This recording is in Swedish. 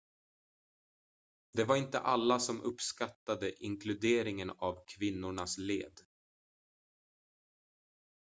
det var inte alla som uppskattade inkluderingen av kvinnornas led